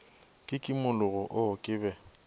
ka kimologo oo ke be